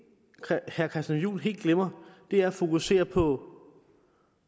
herre christian juhl helt glemmer er at fokusere på